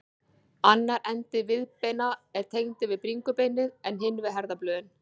Annar endi viðbeina er tengdur við bringubeinið en hinn við herðablöðin.